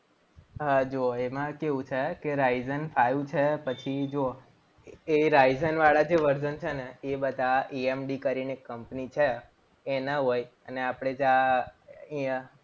હા જુઓ એમાં કેવું છે કે Ryzen five છે. પછી જુઓ એ Ryzen વાળા જે virson છે ને એ બધા EMD કરીને કંપની છે. એના હોય અને આપણે જા